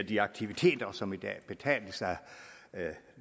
de aktiviteter som i dag betales af